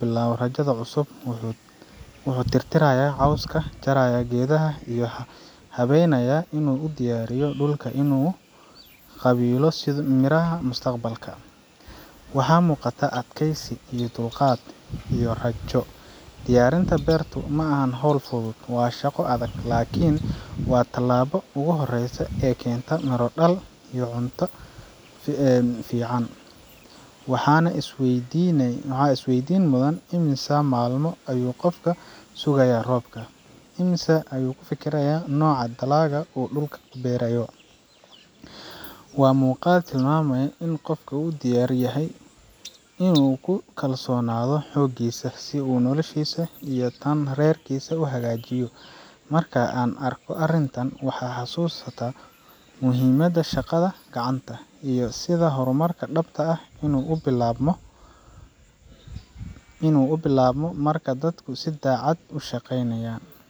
bilowga rajada cusub wuxuu tirtirayaa cawska, jaraya geedaha aan loo baahnayn, una diyaarinayaa dhulka in uu qaabilo miraha mustaqbalka. Waxaa muuqata adkaysi, dulqaad iyo rajo. Diyaarinta beertu ma aha hawl fudud waa shaqo adag, laakiin waa tallaabada ugu horreysa ee keenta miro dhal iyo cunto ku filan bulshada. Waxaan is weydiinayaa: immisa maalmo ayuu qofkani sugayay roobka? Immisa ayuu ka fikiray nooca dalagga uu dhulka ku beerayo? Waa muuqaal tilmaamaya in qofkani diyaar u yahay in uu ku kalsoonaado xooggiisa, si uu noloshiisa iyo tan reerkiisa u hagaajiyo. Marka aan arko arrintan, waxaan xasuustaa muhiimadda shaqada gacanta, iyo sida horumarka dhabta ahi uu u bilaabmo marka dadku si daacad ah u shaqeeyaan. Waa sawir dhiirrigelin leh, kuna tusaya in horumarku u baahan yahay dadaal, diyaarin, iyo samir.